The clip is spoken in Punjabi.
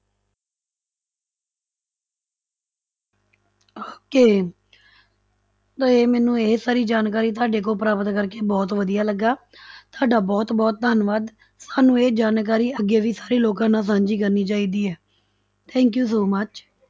Okay ਤੇ ਮੈਨੂੰ ਇਹ ਸਾਰੀ ਜਾਣਕਾਰੀ ਤੁਹਾਡੇ ਕੋਲੋਂ ਪ੍ਰਾਪਤ ਕਰਕੇ ਬਹੁਤ ਵਧੀਆ ਲੱਗਾ ਤੁਹਾਡਾ ਬਹੁਤ ਬਹੁਤ ਧੰਨਵਾਦ, ਸਾਨੂੰ ਇਹ ਜਾਣਕਾਰੀ ਅੱਗੇ ਵੀ ਸਾਰੇ ਲੋਕਾਂ ਨਾਲ ਸਾਂਝੀ ਕਰਨੀ ਚਾਹੀਦੀ ਹੈ thank you so much